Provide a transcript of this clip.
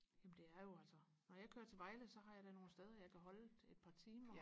jamen det er jo altså når jeg kører til Vejle så har jeg da nogle steder jeg kan holde et par timer